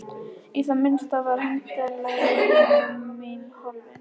Í það minnsta var hefndarlöngun mín horfin.